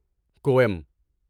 کوئم